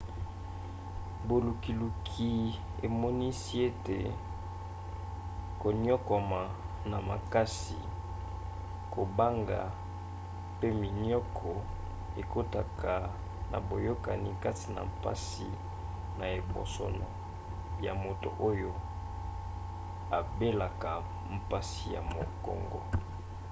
bolukiluki emonisi ete koniokwama na makasi kobanga pe minioko ekotaka na boyokani kati na mpasi na ebosono ya moto oyo abelaka mpasi ya mukongo